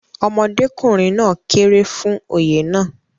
ọmọdékùnrin náà kéré fún Oyè náà